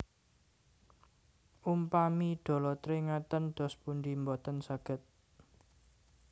Umpami dolotre ngaten dos pundi Mboten saged